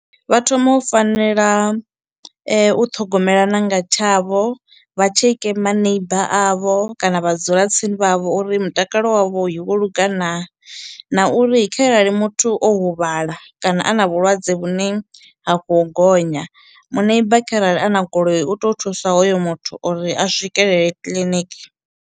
Vha thoma u fanela u ṱhogomelana nga tshavho vha tsheke ma neighbour avho kana vhadzulatsini vhavho uri mutakalo wavhoi wo lunga naa, na uri kharali muthu o huvhala kana a na vhulwadze vhune ha khou gonya muneiba kharali a na goloi u toyo thusa hoyo muthu uri a swikelele kiḽiniki.